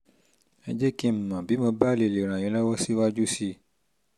ẹ jẹ́ kí n mọ̀ bí mo bá lè lè ràn yín lọ́wọ́ síwájú sí i